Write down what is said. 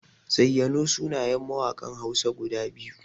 Zayyano sunayen mawaƙan Hausa guda biyu.